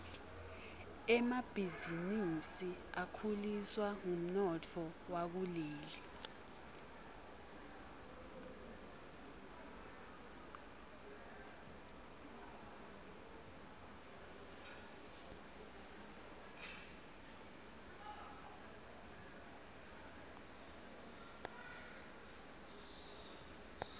emabhizinisi akhuliswa ngumnotfo wakuleli